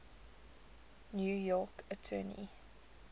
new york attorney